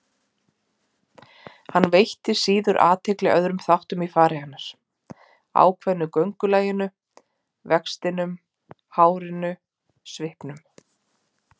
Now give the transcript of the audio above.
Hann veitti síður athygli öðrum þáttum í fari hennar, ákveðnu göngulaginu, vextinum, hárinu, svipnum.